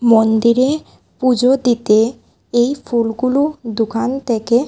মন্দিরে পূজো দিতে এই ফুলগুলো দোকান থেকে--